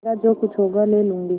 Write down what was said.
मेरा जो कुछ होगा ले लूँगी